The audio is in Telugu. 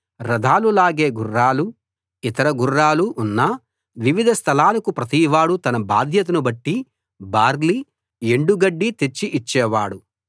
రథాలు లాగే గుర్రాలు ఇతర గుర్రాలు ఉన్న వివిధ స్థలాలకు ప్రతివాడూ తన బాధ్యతను బట్టి బార్లీ ఎండు గడ్డి తెచ్చి ఇచ్చేవాడు